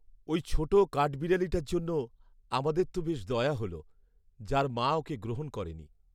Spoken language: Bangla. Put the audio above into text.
ওই ছোট কাঠবিড়ালিটার জন্য আমাদের তো বেশ দয়া হল, যার মা ওকে গ্রহণ করেনি।